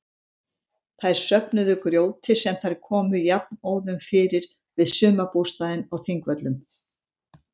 Þær söfnuðu grjóti sem þær komu jafnóðum fyrir við sumarbústaðinn á Þingvöllum.